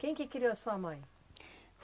Quem que criou a sua mãe?